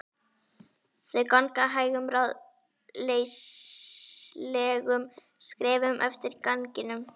Þau ganga hægum, ráðleysislegum skrefum eftir ganginum.